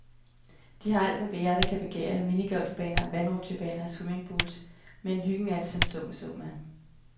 De har alt, hvad hjertet kan begære af minigolfbaner, vandrutchebaner og swimmingpools, men hyggen er det så som så med.